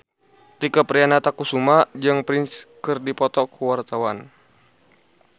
Tike Priatnakusuma jeung Prince keur dipoto ku wartawan